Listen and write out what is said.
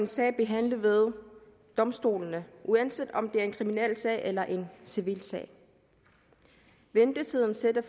sag behandlet ved domstolene uanset om det er en kriminalsag eller en civilsag ventetiden sætter